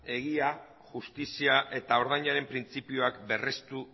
egia justizia eta ordainaren printzipioak berrestu